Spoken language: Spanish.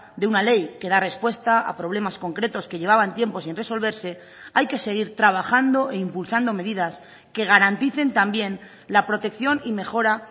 de una ley que da respuesta a problemas concretos que llevaban tiempo sin resolverse hay que seguir trabajando e impulsando medidas que garanticen también la protección y mejora